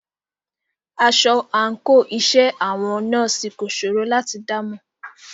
Aṣọ àńkò iṣẹ́ àwọn nọ́ọ̀sì kò ṣòro láti dámọ̀.